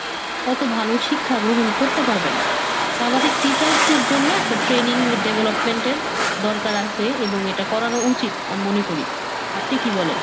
অতো ভালো শিক্ষা গ্রহণ করতে পারবে না। তো আমাদের teachers দের জন্য একটা training development এর দরকার আসে এবং এটা করানো উচিত আমি মনে করি। আপনি কি বলেন?